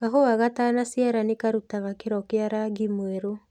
Kahũwa ga tana ciara nĩ karutaga kĩro kĩa rangi mwerũ